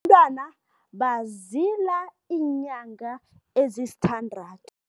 bazila iinyanga ezisithandathu.